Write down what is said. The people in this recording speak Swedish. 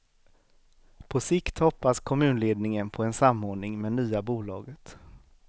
På sikt hoppas kommunledningen på en samordning med nya bolaget.